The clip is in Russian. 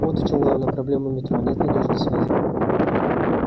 вот в чем главная проблема метро нет надёжной связи